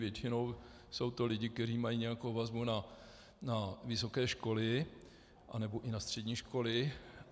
Většinou jsou to lidé, kteří mají nějakou vazbu na vysoké školy nebo i na střední školy.